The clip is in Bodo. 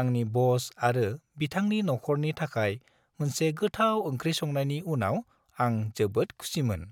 आंनि बस आरो बिथांनि नखरनि थाखाय मोनसे गोथाव ओंख्रि संनायनि उनाव आं जोबोद खुसिमोन।